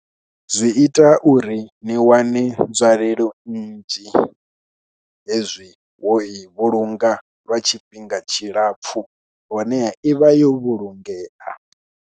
Zwi ita uri ni wane nzwalelo nnzhi hezwi wo i vhulunga lwa tshifhinga tshilapfhu, honeha i vha yo vhulungea.